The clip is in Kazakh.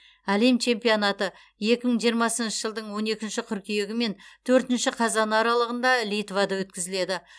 әлем чемпионаты екі мың жиырмасыншы жылдың он екінші қыркүйегі мен төртінші қазаны аралығында литвада өткізіледі